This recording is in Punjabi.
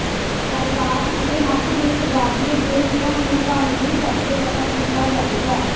ਜਾਇਦਾਦ ਦੇ ਹੱਕ ਦੇ ਤਬਾਦਲੇ ਦੇ ਹੁਕਮ ਨੂੰ ਕਾਨੂੰਨ ਕਰਕੇ ਪਤਾ ਕੀਤਾ ਜਾਵੇਗਾ